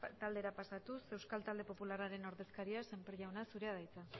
taldera pasatuz euskal talde popularraren ordezkaria sémper jauna zurea da hitza